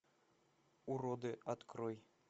уроды открой